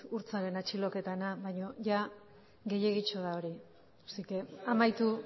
urtzaren atxiloketarena baina ia gehiegitxo da hori amaitu